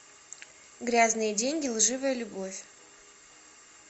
грязные деньги лживая любовь